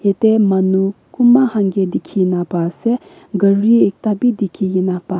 ete manu kumba khan ke dikhi na pa ase gari ekta bi dikhi kene pa ase.